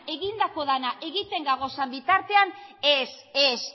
egindako dena egiten gauden bitartean ez